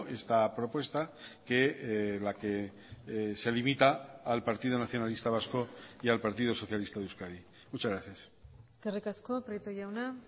esta propuesta que la que se limita al partido nacionalista vasco y al partido socialista de euskadi muchas gracias eskerrik asko prieto jauna